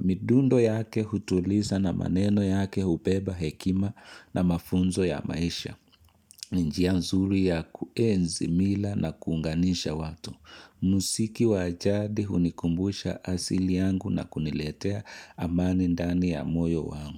Midundo yake hutuliza na maneno yake hubeba hekima na mafunzo ya maisha. Njia nzuri ya kuenzi mila na kunganisha watu. Muziki wajadi hunikumbusha asili yangu na kuniletea amani ndani ya moyo wangu.